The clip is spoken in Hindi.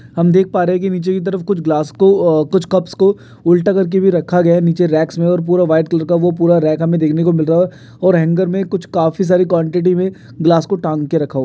हम देख सकते है की निचे की तरफ कुछ गिलास को कुछ कप को उल्टा कर के भी रखा रया है निचे रैक पर ओवर पूरा वाइट कलर का ओ पूरा रॉक हमें देकनेको मिल रखा ओवर हेंगर मे कूच काफी सारी क्वांटिटी में गिलास के तंगके रखा |